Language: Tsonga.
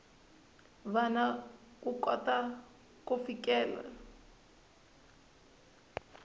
vana ku kota ku fikelela